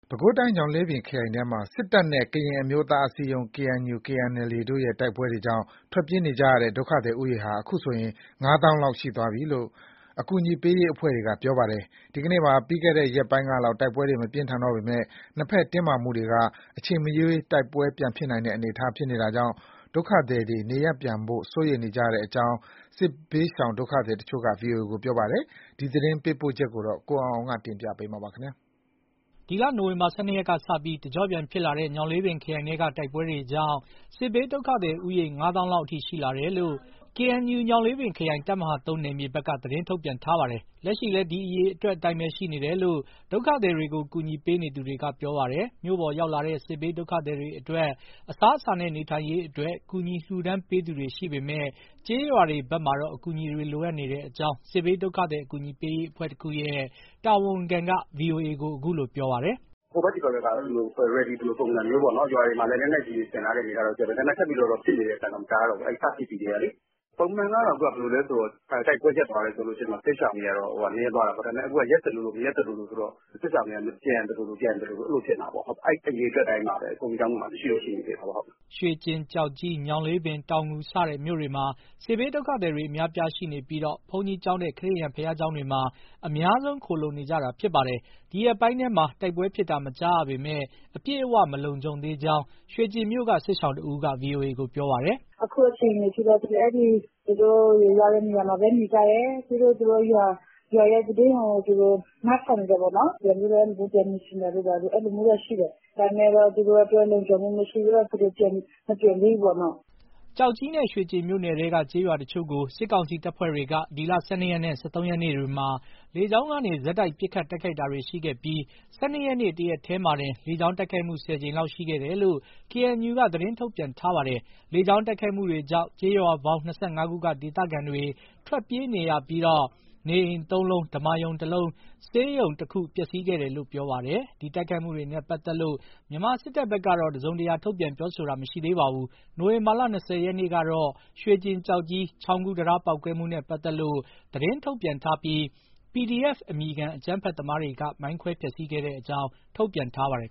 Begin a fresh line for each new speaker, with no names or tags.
ပဲခူးတိုင်း၊ ညောင်လေးပင်ခရိုင်ထဲမှာ စစ်တပ်နဲ့ ကရင်အမျိုးသားအစည်းအရုံး KNU/KNLA တို့ တိုက်ပွဲတွေကြောင့် ထွက်ပြေးနေကြရတဲ့ ဒုက္ခသည်ဦးရေဟာ အခုဆိုရင် ၅ သောင်းလောက် ရှိသွားပြီလို့ အကူအညီပေးရေး အဖွဲ့တွေက ပြောပါတယ်။ ဒီကနေ့မှာ ပြီးခဲ့တဲ့ ရက်ပိုင်းကလောက် တိုက်ပွဲ မပြင်းထန်တော့ပေမဲ့ နှစ်ဘက်တင်းမာမှုတွေက အချိန်မရွေး တိုက်ပွဲပြန်ဖြစ်နိုင်တာကြောင့် ဒုက္ခသည်တွေ နေရပ်ပြန်ဖို့ စိုးရိမ်နေကြတဲ့အကြောင်း စစ်ဘေးဒုက္ခသည်တချို့က ဗွီအိုအေ ကို ပြောပါတယ်။ ရန်ကုန်ကလာတဲ့သတင်းပေးပို့ချက်ကို ကိုအောင်အောင်က တင်ပြပေးထားပါတယ်။
ဒီလ နိုဝင်ဘာလ ၁၂ ရက်ကစပြီး တကျော့ပြန်ဖြစ်လာတဲ့ ညောင်လေးပင်ခရိုင်ထဲက တိုက်ပွဲတွေကြောင့် စစ်ဘေးဒုက္ခသည် ဦးရေ ၅ သောင်းလောက်အထိ ရှိလာတယ်လို့ KNU ညောင်လေးပင်ခရိုင် တပ်မဟာ နယ်မြေဘက်က သတင်းထုတ်ပြန်ထားပါတယ်။ လက်ရှိလည်း ဒီအရေအတွက်အတိုင်းပဲရှိနေတယ်လို့ ဒုက္ခသည်တွေကို ကူညီပေးနေသူတွေက ပြောပါတယ်။ မြို့ပေါ်ရောက်လာတဲ့ စစ်ဘေးဒုက္ခသည်တွေအတွက် အစားအစာနဲ့ နေထိုင်ရေးအတွက် ကူညီလှူဒါန်းပေးသူတွေ ရှိပေမဲ့ ကျေးရွာတွေဘက်မှာတော့ အကူအညီတွေလိုအပ်နေကြောင်း စစ်ဘေးဒုက္ခသည် အကူအညီပေးရေး အဖွဲ့တခုရဲ့တာဝန်ခံက ဗွီအိုအေကို ပြောပါတယ်။ "ဟ
ိုဘက် သည်ဘက်ကတော့ ready လိုပုံစံမျိုးပေါ့၊ ရွာတွေမှာလည်း လက်နက်ကြီးတွေ ဆင်ထားတဲ့အနေအထားရှိတယ်၊ ဒါပေမဲ့ ထပ်ပြီးတော့ ဖြစ်နေတဲ့ အသံတော့ မကြားတော့ဘူး။ စဖြစ်ပြီးကတည်းကလေ။ ပုံမှန်ကတော့ တိုက်ပွဲရပ်သွားတယ်ဆိုရင် စစ်ရှောင်တွေက နည်းသွားတာပေါ့။ ဒါပေမဲ့ အခုက ရပ်သလိုလို မရပ်သလိုလိုဆိုတော့ စစ်ရှောင်တွေက ပြန်သလို မပြန်သလို အဲလိုဖြစ်နေတာပေါ့။ အဲဒီအရေအတွက် အတိုင်းပါပဲ။ ဘုန်းကြီးကျောင်းတွေမှာ ရှိနေသေးတယ်။"
ရွှေကျင်၊ ကျောက်ကြီး၊ ညောင်လေးပင်၊ တောင်ငူ စတဲ့ မြို့တွေမှာ စစ်ဘေးဒုက္ခသည်တွေ အများအပြားရှိနေပြီး ဘုန်းကြီးကျောင်းနဲ့ ခရစ်ယာန် ဘုရားကျောင်းတွေမှာ အများဆုံး ခိုလှုံနေကြတာ ဖြစ်ပါတယ်။ ဒီရက်ပိုင်းထဲမှာ တိုက်ပွဲဖြစ်တာ မကြားရပေမဲ့ အပြည့်အဝ မလုံခြုံသေးကြောင်း ရွှေကျင်မြို့က စစ်ရှောင်တဦးက ဗွီအိုအေကို ပြောပါတယ်
။ "အခုအခြေအနေအထိတော့ သူတို့ရောက်တဲ့နေရာမှာပဲ နေကြတယ်။ ပြီးတော့ သူတို့ရွာရဲ့သတင်းကို သူတို့ နားထောင်နေတာပေါ့နော်။ ပြန်နေချင်တာတို့ ဘာတို့ အဲလိုမျိုးတော့ရှိတယ်၊ ဒါပေမဲ့ သူတို့အတွက် လုံခြုံမှုမရှိသေးတော့ မပြန်သေးဘူးပေါ့ နော့။"
ကျောက်ကြီးနဲ့ ရွှေကျင်မြို့နယ်ထဲက ကျေးရွာတချို့ကို စစ်ကောင်စီတပ်ဖွဲ့တွေက ဒီလ ၁၂ ရက်နဲ့ ၁၃ ရက်နေ့တွေမှာ လေကြောင်းကနေ ဆက်တိုက် ပစ်ခတ်တိုက်ခိုက်ခဲ့ပြီး ၁၂ ရက်နေ့ တရက်တည်းမှာတင် လေကြောင်းတိုက်ခိုက်မှု ၁၀ ကြိမ်လောက် ရှိခဲ့တယ်လို့ KNU က သတင်းထုတ်ပြန်ထားပါတယ်။ လေကြောင်း တိုက်ခိုက်မှုတွေကြောင့် ကျေးရွာပေါင်း ၂၅ ခုက ဒေသခံတွေ ထွက်ပြေးနေရပြီး နေအိမ် သုံးလုံး၊ ဓမ္မာရုံတလုံး၊ ဆေးရုံတခု ပျက်စီးခဲ့တယ်လို့လည်း ပြောပါတယ်။ ဒီတိုက်ခိုက်မှုတွေနဲ့ပတ်သက်လို့ မြန်မာစစ်တပ်ဘက်ကတော့ တစုံတရာ ထုတ်ပြန် ပြောဆိုတာ မရှိသေးပါဘူး။ နိုဝင်ဘာလ ၂၀ ရက်နေ့ ကတော့ ရွှေကျင်-ကျောက်ကြီး ချောင်းကူးတံတား ပေါက်ကွဲမှုနဲ့ပတ်သက်လို့ သတင်းထုတ်ပြန်ထားပြီး PDF အမည်ခံ အကြမ်းဖက် သမားတွေက မိုင်းခွဲ ဖျက်ဆီးခဲ့တဲ့အကြောင်း ထုတ်ပြန်ထားပါတယ်